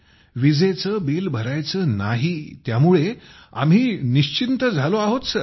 वीजेचे बिल भरायचे नाही त्यामुळे आम्ही निश्चिंत झालो आहोत सर